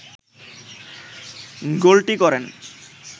গোলটি করেন